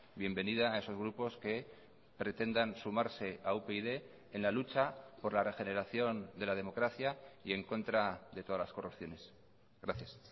bienvenida a esos grupos que pretendan sumarse a upyd en la lucha por la regeneración de la democracia y en contra de todas las corrupciones gracias